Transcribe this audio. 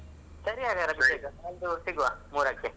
ಸರಿ ಹಾಗಾದ್ರೆ ಅಭಿಷೇಕ ಅದು ಸಿಗುವ ಮೂರಕ್ಕೆ.